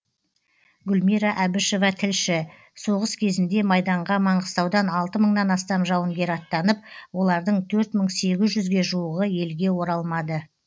гүлмира әбішева тілші соғыс кезінде майданға маңғыстаудан алты мыңнан астам жауынгер аттанып олардың төрт мың сегіз жүзге жуығы елге оралмады